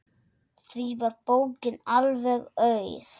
Því var bókin alveg auð.